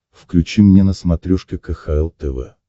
включи мне на смотрешке кхл тв